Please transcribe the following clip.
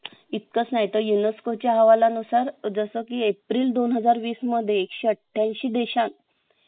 company काय निर्माण करत आहे आणि कंपनीची growth कशी आहे या सर्व गोष्टी तुम्हाला internet वर मिळून जातील. याची तुम्हाला तयारी करायची आहे.